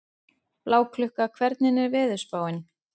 Bláklukka, hvernig er veðurspáin?